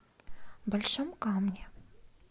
большом камне